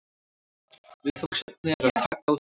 Viðfangsefnið er að taka á því